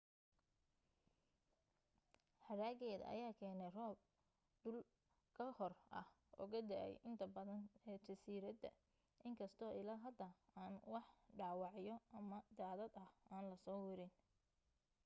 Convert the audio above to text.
hadhaageeda ayaa keenay roob dul ka hoor ah oo ka da'ay inta badan ee jasiiradda in kastoo ilaa hadda aan wax dhaawacyo ama daadad ah aan la soo werin